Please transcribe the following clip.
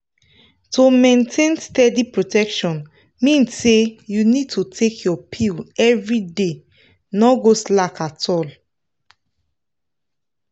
to maintain steady protection mean say you need to dey take your pill everyday no go slack at all.